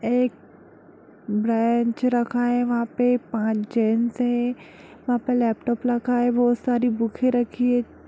एक बेन्च रखा है वहा पे पांच जेन्ट्स है वहा पे लैपटॉप रखा है बहुत सारी बुके रखी है।